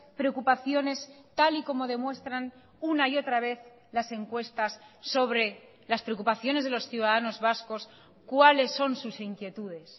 preocupaciones tal y como demuestran una y otra vez las encuestas sobre las preocupaciones de los ciudadanos vascos cuáles son sus inquietudes